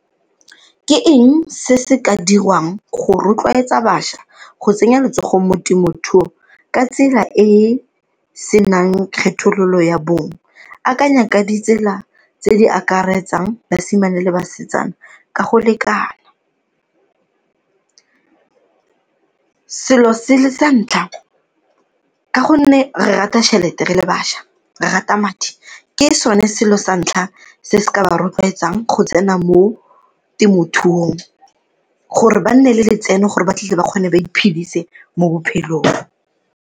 Ke eng se se ka diriwang go rotloetsa bašwa go tsenya letsogo mo temothuo ka tsela e e senang kgethololo ya bong? Akanya ka ditsela tse di akaretsang basimane le basetsana ka go lekana. Selo se le sa ntlha ka gonne re rata tšhelete re le bašwa, re rata madi, ke sone selo sa ntlha se se ka ba rotloetsang go tsena mo temothuong, gore ba nne le letseno gore ba tle ba kgone ba iphedise mo bophelong.